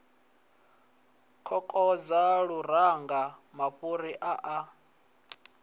kokodza luranga mafhuri a a